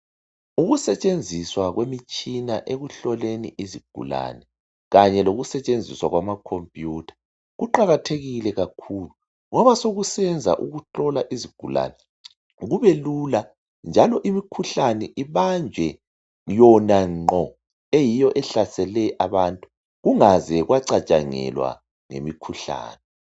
Ukusetshenziswa kwemitshina ekuhloleni izigulane kanye lokusetshenziswa kwamacomputer kuqakathekile kakhulu ngoba sokusenza ukuhlola izigulane kubelula njalo imikhuhlane ibanjwe yona ngqo eyiyo ehlasele abantu kungaze kwacatshangelwa ngemikhuhlane